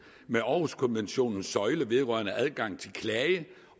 med århuskonventionens søjle vedrørende adgang til klage